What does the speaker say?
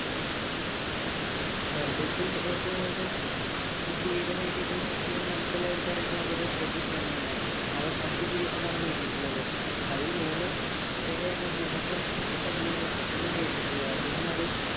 worldcup ൽ ഏറ്റവും കൂടുതൽ കിരീടം നേടിയിട്ടുള്ള team നമുക്കെല്ലാവർക്കും അറിയുന്നതുപോലെ ബ്രസീൽ തന്നെയാണ് അവർ അഞ്ച് കിരീടം ആണ് നേടിയിട്ടുള്ളത് അതിൽ മൂന്നും പെലെ എന്ന ഇതിഹാസം തന്നെയാണ് നേടിയിട്ടുള്ളത് അദ്ദേഹം അത്